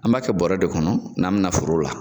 An b'a kɛ bɔrɛ de kɔnɔ n'an bɛna foro la.